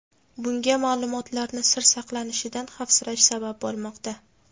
Bunga ma’lumotlarni sir saqlanishidan xavfsirash sabab bo‘lmoqda.